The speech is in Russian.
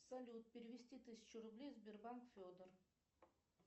салют перевести тысячу рублей сбербанк федор